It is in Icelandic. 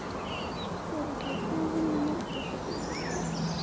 Þórhallur: Hvað vinna margir hérna við þetta?